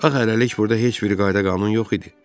Axı hələlik burda heç bir qayda qanun yox idi.